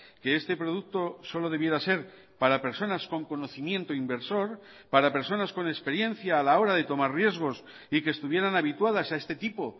que este producto solo debiera ser para personas con conocimiento inversor para personas con experiencia a la hora de tomar riesgos y que estuvieran habituadas a este tipo